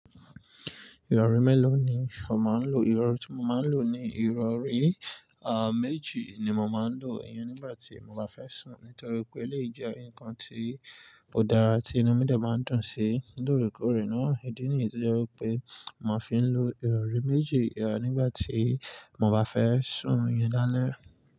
Ìrọ̀rí mélòó ni o máa ń lò? Ìrọ̀rí tí mo máa ń lò ni ìrọ̀rí, à, méjì ni mo máa ń lò iyán nígbà tí mo bá fẹ́ sùn nítorí pé léèjẹ́ ǹkan tí kò dára tí inú mi dà máa ń dùn sí. Lóòrèkóòrè náà, ìdí nìyí tí jẹ́ pé mò fí ń lò ìrọ̀rí méjì, a, nígbà tí mo bá fẹ́ sùn orun lálẹ́.